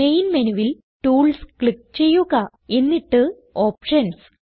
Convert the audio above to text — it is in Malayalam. മെയിൻ മെനുവിൽ ടൂൾസ് ക്ലിക്ക് ചെയ്യുക എന്നിട്ട് ഓപ്ഷൻസ്